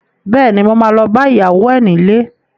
Bẹ́ẹ̀ni, mo ma lọ bá ìyàwó ẹ nílé